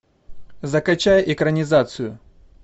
закачай экранизацию